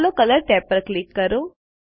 ચાલો colours tab પર click કરો